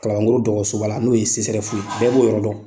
Kalaban kɔrɔ dɔgɔtɔrɔsoba la n'o ye CSREF ye bɛɛ b'o yɔrɔ dɔn.